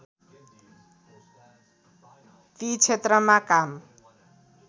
ती क्षेत्रमा काम